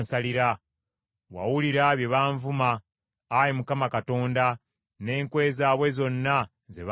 Wawulira bye banvuma, Ayi Mukama Katonda, n’enkwe zaabwe zonna ze bansalira,